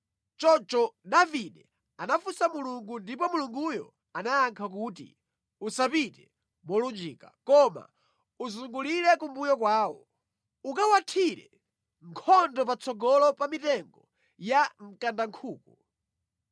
Choncho Davide anafunsa Mulungu ndipo Mulunguyo anayankha kuti, “Usapite molunjika, koma uzungulire kumbuyo kwawo. Ukawathire nkhondo patsogolo pa mitengo ya mkandankhuku.